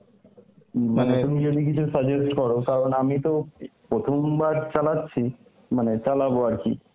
তুমি যদি কিছু suggest কর কারণ আমি তো প্রথম বার চালাচ্ছি, মানে চালাব আরকি.